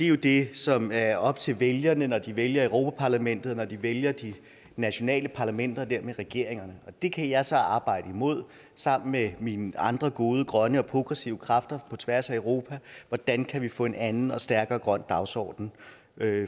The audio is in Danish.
jo det som er op til vælgerne når de vælger europa parlamentet og de vælger de nationale parlamenter og dermed regeringerne det kan jeg så arbejde imod sammen med mine andre gode grønne og progressive kræfter på tværs af europa hvordan kan vi få en anden og stærkere grøn dagsorden